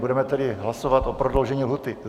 Budeme tedy hlasovat o prodloužení lhůty.